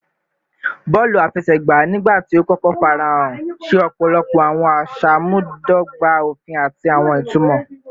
Bọọlu afẹsẹgba, nigbati o kọkọ farahan, ṣe ọpọlọpọ awọn aṣamubadọgba ofin ati awọn itumọ